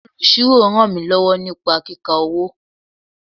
Olusiro ràn mí lọ́wọ́ ní kíka owó.